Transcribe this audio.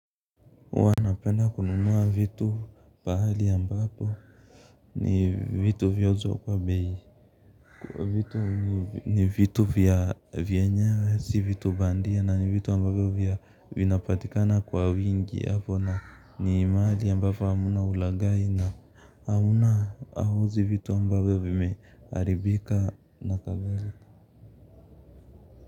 Huwa napenda kununua vitu pahali ambapo ni vitu vyauzwa kwa bei kwa vitu ni vitu vyenyewe si bandia na ni vitu vinapatikana kwa wingi ni mahali ambapo hamna ulaghai na hawauzi vitu ambavyo vimeharibika.